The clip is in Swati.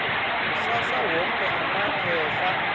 kusasa wonkhe emakhehla